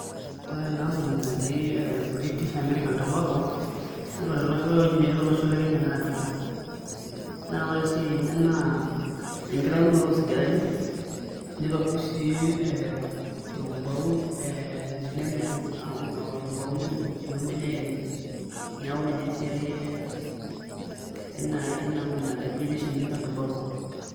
Ore ena ampuni naji British American Tobacco ore ewueji netii tolosho le Kenya naa Thika naa ore esiai enye naa enkitaunoto oo sigarani, nitobirr sii ee orkumbau nemirr orkumbau nemirr sii ombenek enye, neeku ninye esiai ee ena ampuni najo British American Tobacco.